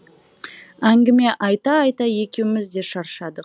әңгімені айта айта екеуміз де шаршадық